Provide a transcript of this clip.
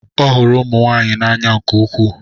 Ọ hụrụ ụmụ nwanyị n'anya nke ukwuu.